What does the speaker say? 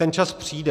Ten čas přijde.